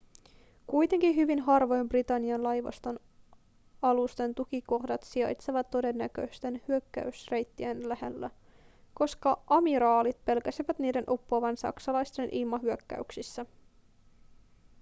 kuitenkin hyvin harvojen britannian laivaston alusten tukikohdat sijaitsivat todennäköisten hyökkäysreittien lähellä koska amiraalit pelkäsivät niiden uppoavan saksalaisten ilmahyökkäyksessä